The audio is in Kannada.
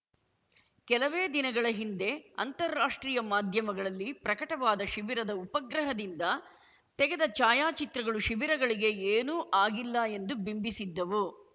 ಕೆಲವೇ ದಿನಗಳ ಹಿಂದೆ ಅಂತರರಾಷ್ಟ್ರೀಯ ಮಾಧ್ಯಮಗಳಲ್ಲಿ ಪ್ರಕಟವಾದ ಶಿಬಿರದ ಉಪಗ್ರಹದಿಂದ ತೆಗೆದ ಛಾಯಾಚಿತ್ರಗಳು ಶಿಬಿರಗಳಿಗೆ ಏನೂ ಆಗಿಲ್ಲ ಎಂದು ಬಿಂಬಿಸಿದ್ದವು